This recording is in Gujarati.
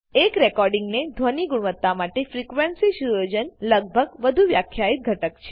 એક રેકોડીંગ ની ધ્વની ગુણવતા માટે Frequencyસુયોજન લગભગ વધુ વ્યાખ્યાયિત ઘટક છે